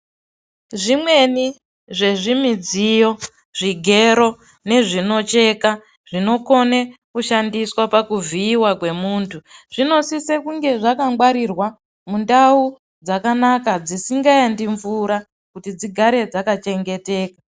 Zvimweni zvezvimidziyo ,zvigero nezvinocheka, zvinokone kushandiswa pakuvhiiwa kwemuntu , zvinosise kunge zvakangwarirwa ,mundau dzakanaka, dzisingaendi mvura, kuti dzigare dzakachengeteka.